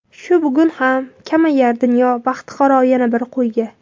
Shu bugun ham kamayar dunyo Baxtiqaro yana bir qo‘yga.